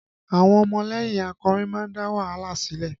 Àwọn ọmọlẹ́yìn akọrin máa ń dá wàhálà sílẹ̀